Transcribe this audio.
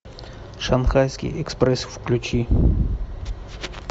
шанхайский экспресс включи